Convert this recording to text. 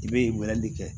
I bɛ weleli kɛ